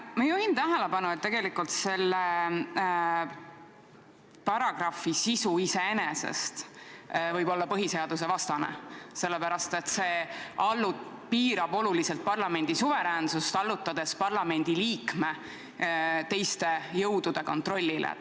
Ma juhin tähelepanu, et tegelikult selle paragrahvi sisu iseenesest võib olla põhiseadusvastane, sellepärast, et see piirab oluliselt parlamendi suveräänsust, allutades parlamendiliikme teiste jõudude kontrollile.